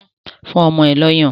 Fún ọmọ ẹ lọ́yàn!